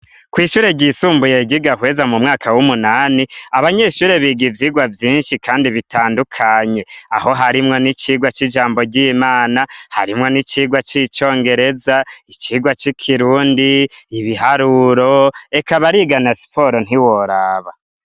Kw'ishure ryisumbuye giga kweza mu mwaka w'umunani abanyeshure biga ivyirwa vyinshi kandi bitandukanye, aho harimwo n'icirwa c'ijambo ry'imana , harimwo n'icirwa c'icongereza, ikirwa c'i kirundi ibiharuro ekabarigana siporo ntiworaba.